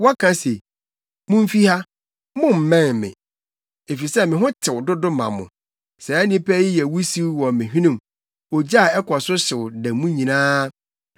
wɔka se, ‘Mumfi ha; mommmɛn me, efisɛ me ho tew dodo ma mo!’ Saa nnipa yi yɛ wusiw wɔ me hwenem, ogya a ɛkɔ so hyew da mu nyinaa.